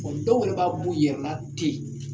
Ɔ dɔw yɛrɛ b'a b'u yɛrɛla ten